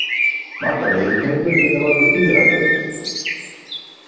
Margar veirutegundir geta valdið iðrakvefi.